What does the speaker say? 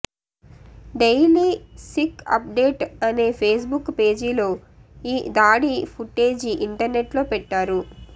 daily Sikh update అనే Facebook పేజీలో ఈ దాడి ఫుటేజీ ఇంటర్నెట్లో పెట్టారు